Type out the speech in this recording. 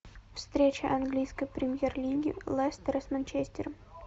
встреча английской премьер лиги лестера с манчестером